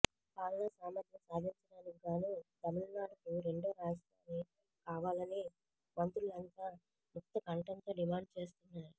పాలనా సామర్ధ్యం సాధించడానికిగాను తమిళనాడుకు రెండో రాజధాని కావాలని మంత్రులంతా ముక్తకంఠంతో డిమాండు చేస్తున్నారు